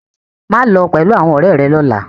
Maa lo pẹlu awọn ọrẹ rẹ lọla!